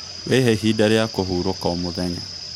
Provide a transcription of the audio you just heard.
Wĩhe ihinda rĩa kũhurũka o mũthenya.